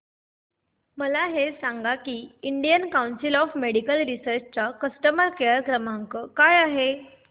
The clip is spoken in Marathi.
मला हे सांग की Indian council of medical research चा कस्टमर केअर क्रमांक काय आहे